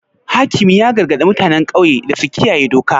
Hakimi ya gargadi mutanen ƙauye da su kiyaye doka.